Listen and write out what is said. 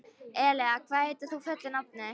Elea, hvað heitir þú fullu nafni?